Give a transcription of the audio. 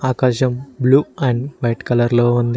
ఆకాశం blue and white కలర్లో ఉంది.